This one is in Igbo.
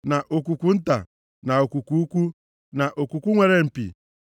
na okwukwu nta, na okwukwu ukwu, na okwukwu nwere mpi,